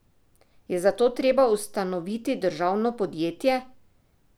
Je zato treba ustanoviti državno podjetje?